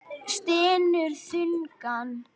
Stynur þungan.